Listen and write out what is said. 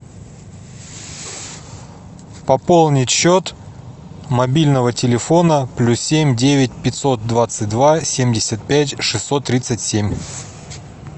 пополнить счет мобильного телефона плюс семь девять пятьсот двадцать два семьдесят пять шестьсот тридцать семь